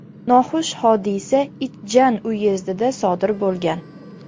Noxush hodisa Ichjan uyezdida sodir bo‘lgan.